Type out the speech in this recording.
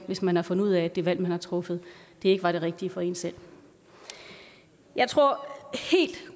hvis man har fundet ud af at det valg man har truffet ikke var det rigtige for en selv jeg tror helt